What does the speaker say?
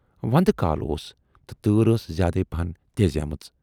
وَندٕ کال اوس تہٕ تۭر ٲس زیادَے پہَن تیزیمٕژ۔